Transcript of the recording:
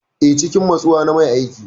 Eh, cikin natsuwa na mai aiki.